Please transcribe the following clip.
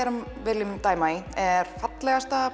viljum dæma í er fallegasta